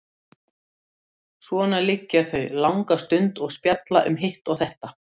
Svona liggja þau langa stund og spjalla um hitt og þetta.